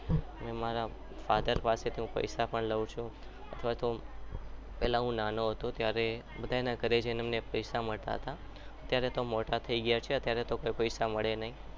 અને હું મારા father પાસે પણ પૈસા લઉં છું અથવા તો પહેલા તો હું નાનો હતો ત્યારે બધાના ઘરે જઈને મને પૈસા મળતા હતા અત્યારે તો મોટા થઈ ગયા તાર તો પૈસા મળે નહીં.